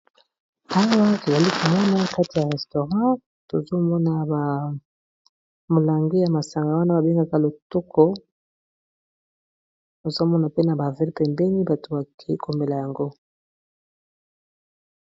Awa to zalaki na kati ya restaurant tozo mona ba milangi ya masanga wana ba bengaka lotoko tozo mona pe na ba verres pembeni, bato ba ke komela yango .